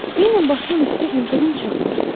Eynən başımın üstü ildırım çaxmışdı.